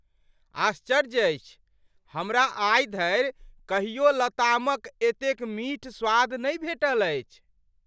आश्चर्य अछि हमरा आइ धरि कहियो लतामक एतेक मीठ स्वाद नहि भेटल अछि!